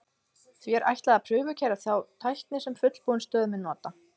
því er ætlað að prufukeyra þá tækni sem fullbúin stöð mun nota